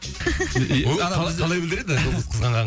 ол қалай қалай білдіреді жұлдыз қызғанғанын